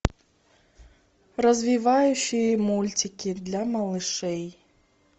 развивающие мультики для малышей